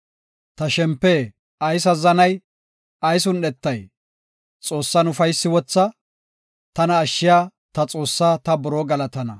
Ta shempe ayis azzanay? ayis un7etay? Xoossan ufaysi wotha; tana ashshiya, ta Xoossaa ta buroo galatana.